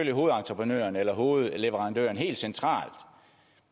hovedentreprenøren eller hovedleverandøren helt centralt